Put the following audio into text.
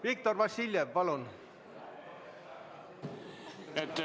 Viktor Vassiljev, palun!